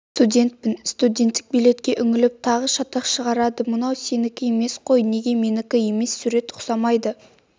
студентпін студенттік билетке үңіліп тағы шатақ шығарды мынау сенікі емес қой неге менікі емес сурет ұқсамайды